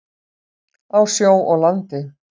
Á sjó og landi.